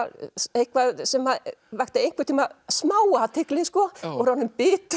eitthvað sem að vakti einhvern tímann smá athygli og er orðinn bitur